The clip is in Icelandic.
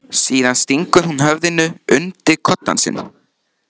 Síðan stingur hún höfðinu undir koddann sinn.